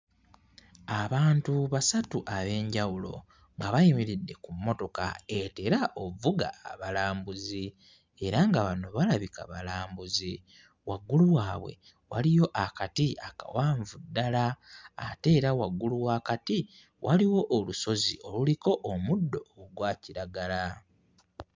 Abantu basatu ab'enjawulo nga bayimiridde ku mmotoka etera okuvuga abalambuzi era nga bano balabika balambuzi, waggulu waabwe waliyo akati akawanvu ddala, ate era waggulu w'akati waliwo olusozi oluliko omuddo ogwa kiragala